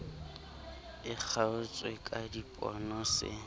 e kgaotswe ka dipono se